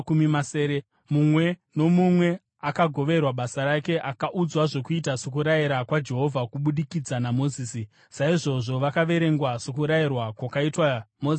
Mumwe nomumwe akagoverwa basa rake akaudzwa zvokuita sokurayira kwaJehovha kubudikidza naMozisi. Saizvozvo vakaverengwa, sokurayirwa kwakaitwa Mozisi naJehovha.